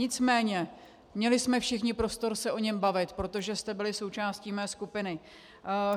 Nicméně měli jsme všichni prostor se o něm bavit, protože jste byli součástí mé skupiny.